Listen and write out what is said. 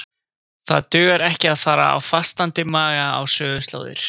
Það dugar ekki að fara á fastandi maga á söguslóðir.